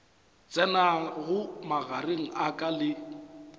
tsenago magareng a ka le